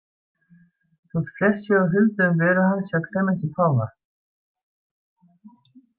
Þótt flest sé á huldu um veru hans hjá Klemensi páfa.